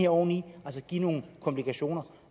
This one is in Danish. oven i give nogle komplikationer